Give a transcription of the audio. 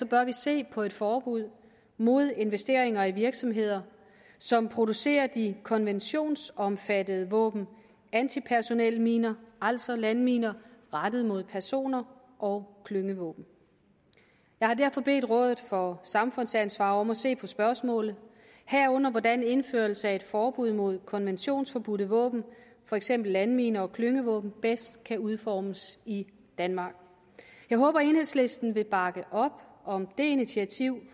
bør vi se på et forbud mod investeringer i virksomheder som producerer de konventionsomfattede våben antipersonelminer altså landminer rettet mod personer og klyngevåben jeg har derfor bedt rådet for samfundsansvar om at se på spørgsmålet herunder på hvordan indførelse af et forbud mod konventionsforbudte våben for eksempel landminer og klyngevåben bedst kan udformes i danmark jeg håber at enhedslisten vil bakke op om det initiativ